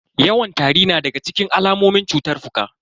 Yawan tari na daga cikin alamomin cutar fuka.